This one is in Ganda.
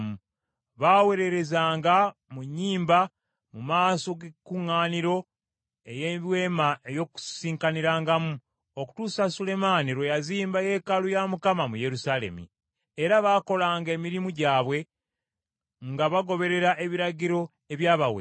Baaweererezanga mu nnyimba mu maaso g’ekuŋŋaaniro ey’Eweema ey’Okusisikanirangamu, okutuusa Sulemaani lwe yazimba yeekaalu ya Mukama mu Yerusaalemi. Era bakolanga emirimu gyabwe, nga bagoberera ebiragiro ebyabaweebwa.